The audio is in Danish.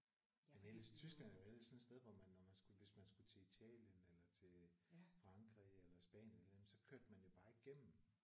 Ja for ellers Tyskland er jo ellers sådan et sted hvor man når man hvis man skulle til Italien eller til Frankrig eller Spanien jamen så kørte man jo bare igennem